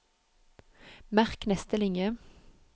Merk neste linje